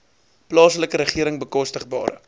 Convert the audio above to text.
plaaslike regering bekostigbare